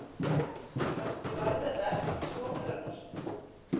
Kannski var þetta ekki sonur hennar.